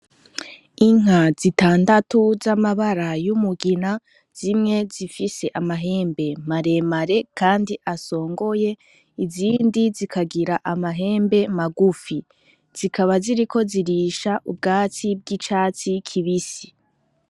Inka zitandatu z'amabara y'umugina zimwe zifise amahembe maremare kandi asongoye azindi zikagira amahembe magufi zikaba ziriko zirisha ubwatsi bw'icatsi kibisi.